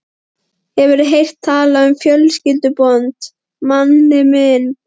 Hefurðu heyrt talað um fjölskyldubönd, manni minn?